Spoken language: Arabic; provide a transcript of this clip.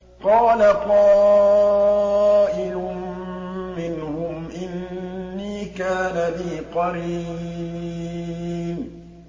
قَالَ قَائِلٌ مِّنْهُمْ إِنِّي كَانَ لِي قَرِينٌ